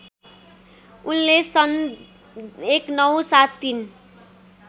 उनले सन् १९७३